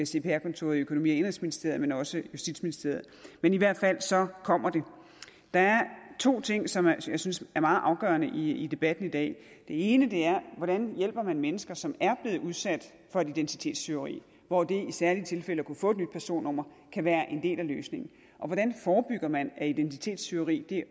cpr kontoret i økonomi og indenrigsministeriet men også justitsministeriet men i hvert fald så kommer det der er to ting som jeg synes er meget afgørende i debatten i dag den ene er hvordan man hjælper mennesker som er blevet udsat for et identitetstyveri hvor det i særlige tilfælde at kunne få et nyt personnummer kan være en del af løsningen hvordan forebygger man at identitetstyveri